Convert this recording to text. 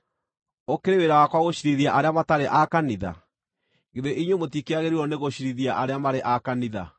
Ũkĩrĩ wĩra wakwa gũciirithia arĩa matarĩ a kanitha? Githĩ inyuĩ mũtikĩagĩrĩirwo nĩgũciirithia arĩa marĩ a kanitha?